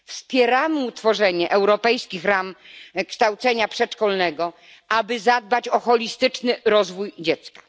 Wspieramy ustanowienie europejskich ram kształcenia przedszkolnego, aby zadbać o holistyczny rozwój dziecka.